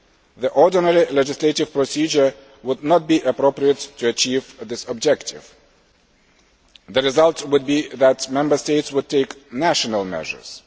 The ordinary legislative procedure would not be appropriate to achieve this objective. The result would be that Member States would take national